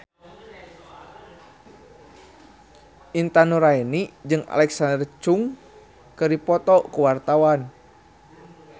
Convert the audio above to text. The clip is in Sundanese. Intan Nuraini jeung Alexa Chung keur dipoto ku wartawan